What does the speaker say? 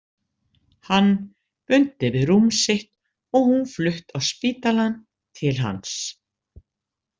Hann bundinn við rúm sitt og hún flutt á spítalann til hans.